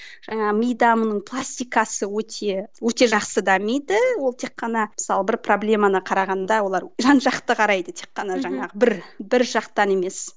жаңағы мида мұның пластикасы өте өте жақсы дамиды ол тек қана мысалы бір проблеманы қарағанда олар жан жақты қарайды тек қана жаңағы бір бір жақтан емес